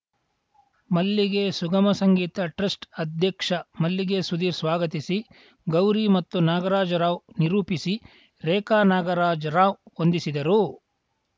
ಮಲ್ಲಿಗೆ ಸುಗಮ ಸಂಗೀತ ಟ್ರಸ್ಟ್‌ ಅಧ್ಯಕ್ಷ ಮಲ್ಲಿಗೆ ಸುಧೀರ್‌ ಸ್ವಾಗತಿಸಿ ಗೌರಿ ಮತ್ತು ನಾಗರಾಜ ರಾವ್‌ ನಿರೂಪಿಸಿ ರೇಖಾ ನಾಗರಾಜರಾವ್‌ ವಂದಿಸಿದರು